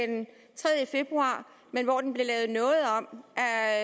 den tredje februar men hvor den blev lavet noget om af